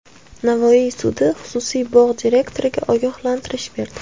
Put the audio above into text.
Navoiy sudi xususiy bog‘ direktoriga ogohlantirish berdi.